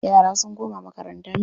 Yara sun koma makaranta.